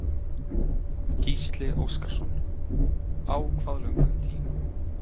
Gísli Óskarsson: Á hvað löngum tíma?